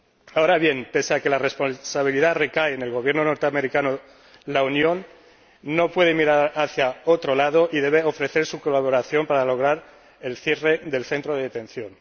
Ahora bien, pese a que la responsabilidad recae en el Gobierno norteamericano, la Unión no puede mirar hacia otro lado y debe ofrecer su cooperación para lograr el cierre del centro de detención.